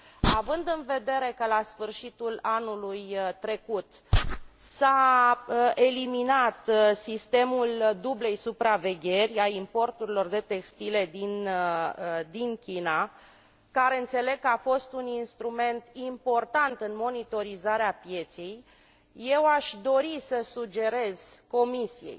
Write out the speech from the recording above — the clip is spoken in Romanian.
Având în vedere că la sfârșitul anului trecut s a eliminat sistemul dublei supravegheri a importurilor de textile din China, care înțeleg că a fost un instrument important în monitorizarea pieței, aș dori să sugerez Comisiei